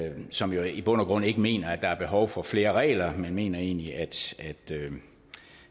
som jo i bund og grund ikke mener at der er behov for flere regler man mener egentlig